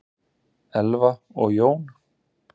Elfa og Jón.